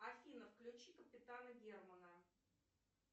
афина включи капитана германа